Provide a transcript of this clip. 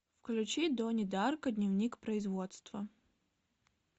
включи донни дарко дневник производства